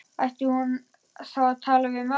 Ætti hún þá að tala við ömmu?